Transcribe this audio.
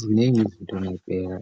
Ziningi izinto ongayibheka,